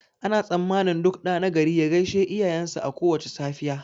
Ana tsammanin duk ɗa nagari ya gaishe iyayen shi a kowace safiya